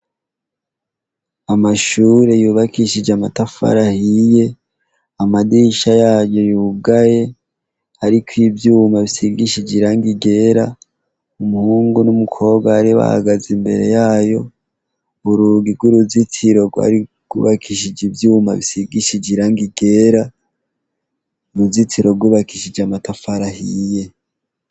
Amashure yubakishije amatafarahiye amadisha yayu yugaye, ariko ivyuma bisigishije iranke igera umuhungu n'umukobwa ari bahagaze imbere yayo urugir uruzitiro rwari gubakishije ivyuma bisigishije iranke igera era uruzitsirogubakishije amatafarahiye.